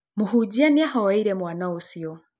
Mũhunja nĩ arahoeire mwana ũcio.